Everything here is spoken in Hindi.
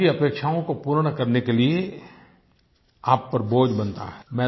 लोगों की अपेक्षाओं को पूर्ण करने के लिए आप पर बोझ बनता है